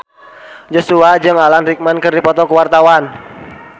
Joshua jeung Alan Rickman keur dipoto ku wartawan